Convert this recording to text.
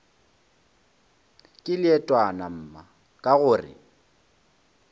ke leetwana mma ka gore